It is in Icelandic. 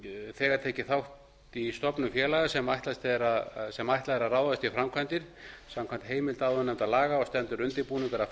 þegar tekið þátt í stofnun félaga sem ætlað er að ráðast í framkvæmdir samkvæmt heimild áðurnefndra laga og stendur undirbúningur að